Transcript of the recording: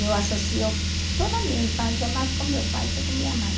Eu associo toda a minha infância mais com meu pai que com minha mãe.